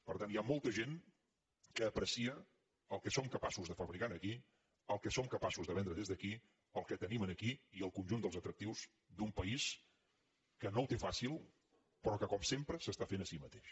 per tant hi ha molta gent que aprecia el que som capaços de fabricar aquí el que som capaços de vendre des d’aquí el que tenim aquí i el conjunt dels atractius d’un país que no ho té fàcil però que com sempre s’està fent a si mateix